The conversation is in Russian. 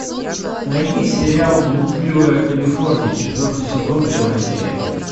найди сериал блудливая калифорния четвертый сезон первая серия